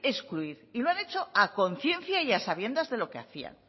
excluir y lo han hecho a conciencia y a sabiendas de lo que hacían